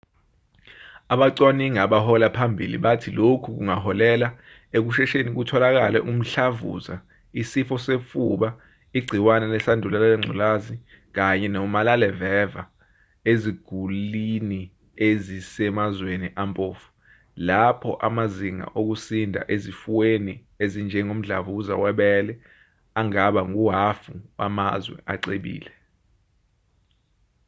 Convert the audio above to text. abacwaningi abahola phambili bathi lokhu kungaholela ekushesheni kutholeke umhlavuza isifo sofuba igciwane lesandulela ngculazi kanye nomalaleveva eziguliniezisemazweni ampofu lapho amazinga okusinda ezifweni ezinjengomdlavuza webele angaba nguhhafuwamazwe acebile